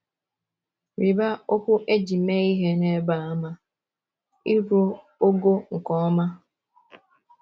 Rịba okwu e ji mee ihe n’ebe a ama —‘ iru ogo nke ọma. ’